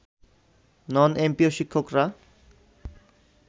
নন MPO শিক্ষকরা